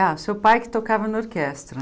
Ah, seu pai que tocava na orquestra.